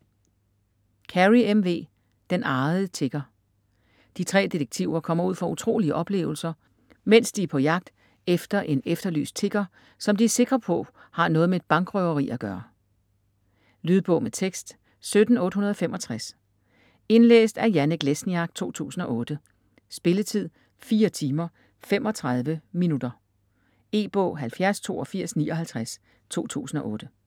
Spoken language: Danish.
Carey, M. V.: Den arrede tigger De tre detektiver kommer ud for utrolige oplevelser, mens de er på jagt efter en efterlyst tigger, som de er sikre på har noget med et bankrøveri at gøre. Lydbog med tekst 17865 Indlæst af Janek Lesniak, 2008. Spilletid: 4 timer, 35 minutter. E-bog 708259 2008.